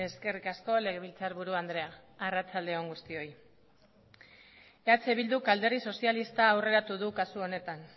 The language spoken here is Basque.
eskerrik asko legebiltzarburu andrea arratsalde on guztioi eh bilduk alderdi sozialista aurreratu du kasu honetan